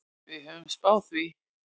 Við höfðum spáð því.